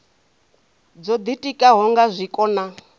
dzo ditikaho nga zwiko na